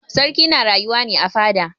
Sarki na rayuwa ne a fada.